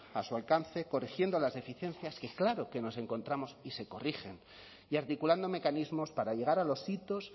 a su alcance corrigiendo las deficiencias que claro nos encontramos y se corrigen y articulando mecanismos para llegar a los hitos